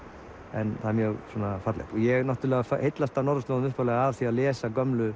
en það er mjög fallegt ég náttúrulega heillast af norðurslóðum upphaflega af því að lesa gömlu